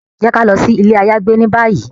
Jẹ ki a lọ si ile ayagbe ni bayi!